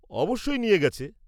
-অবশ্যই নিয়ে গেছে।